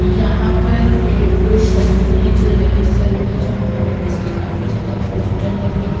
यहां पर एक सैलून है जो लेडिस सैलून है जहां पर लेडिस के काफी ज्यादा पोस्टर लगे हैं।